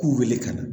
K'u wele ka na